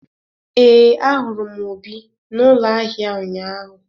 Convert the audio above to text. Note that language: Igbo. Ee, ahụrụ m Obi n’ụlọ ahịa ụnyahụ.